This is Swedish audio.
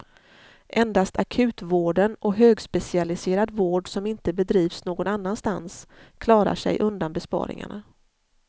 Endast akutvården och högspecialiserad vård som inte bedrivs någon annanstans klarar sig undan besparingarna.